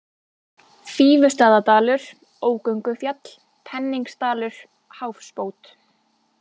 Fífustaðadalur, Ógöngufjall, Penningsdalur, Háfsbót